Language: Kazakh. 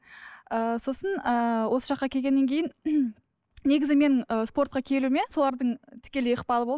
ыыы сосын ыыы осы жаққа келгеннен кейін негізі мен ыыы спортқа келуіме солардың тікелей ықпалы болды